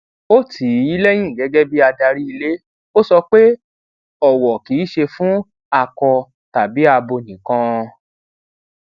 ó tì í lẹyìn gẹgẹ bí adarí ílé ó sọ pé ọwọ kì í ṣe fún akọ tàbí abo nìkan